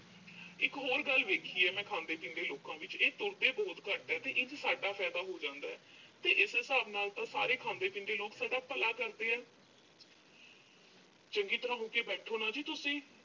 ਇੱਕ ਹੋਰ ਗੱਲ ਦੇਖੀ ਆ ਮੈਂ ਖਾਂਦੇ-ਪੀਂਦੇ ਲੋਕਾਂ ਵਿੱਚ। ਇਹ ਤੁਰਦੇ ਬਹੁਤ ਘੱਟ ਆ ਤੇ ਇਸ 'ਚ ਸਾਡਾ ਫਾਇਦਾ ਹੋ ਜਾਂਦਾ। ਤੇ ਇਸ ਹਿਸਾਬ ਨਾਲ ਤਾਂ ਸਾਰੇ ਖਾਂਦੇ-ਪੀਂਦੇ ਲੋਕ ਸਾਡਾ ਭਲਾ ਕਰਦੇ ਆ। ਚੰਗੀ ਤਰ੍ਹਾਂ ਹੋ ਕੇ ਬੈਠੋ ਨਾ ਜੀ ਤੁਸੀਂ।